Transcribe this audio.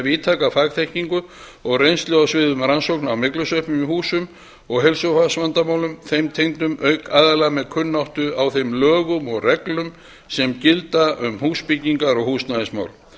víðtæka fagþekkingu og reynslu á sviði rannsókna á myglusveppum í húsum og heilsufarsvandamálum þeim tengdum auk aðila með kunnáttu á þeim lögum og reglum sem gilda um húsbyggingar og húsnæðismál